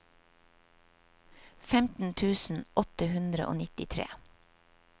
femten tusen åtte hundre og nittitre